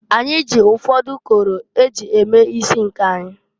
Anyị jị ụfọdụ ụkọrọ e ji eme isi nke anyị.